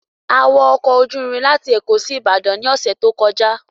A wọ ọkọ̀ ojú irin láti Èkó sí Ìbàdàn ní ọ̀sẹ̀ tó kọjá